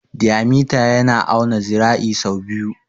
Diyamita yana auna zira'i sau biyu.